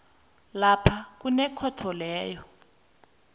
lapha kunekhotho leyo